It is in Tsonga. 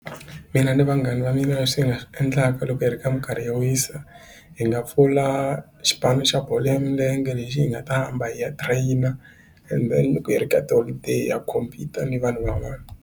Mina ni vanghana va mina leswi hi nga swi endlaka loko hi ri ka minkarhi yo wisa hi nga pfula xipano xa bolo ya milenge lexi hi nga ta hamba hi ya trainer ende loko hi ri ka tiholideyi ya compete ni vanhu va va n'wana.